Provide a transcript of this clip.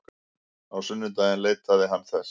Á sunnudaginn leitaði hann þess.